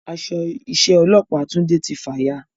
Aṣọ iṣẹ́ ọlópàá Tunde tí fàya